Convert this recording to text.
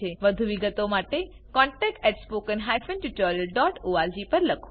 વધુ વિગતો માટે contactspoken tutorialorg પર લખો